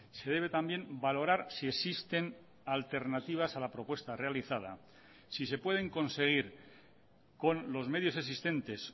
se debe también valorar si existen alternativas a la propuesta realizada si se pueden conseguir con los medios existentes